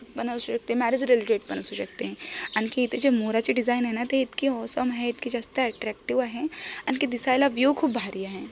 बनवशी व्यक्ति marriage related पण असू शकते आणखी त्याचे मोराचे डिझाईन आहेना ते इतके औसम आहे इतके जास्त अट्रैक्टिव आहे आणखी दिसायला विव्ह खूप भारी आहे.